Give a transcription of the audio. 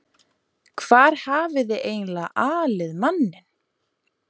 Hvar hafiði eiginlega alið manninn?